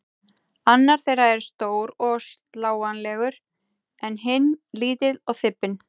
Annar þeirra er stór og slánalegur en hinn lítill og þybbinn.